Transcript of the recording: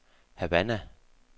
Havana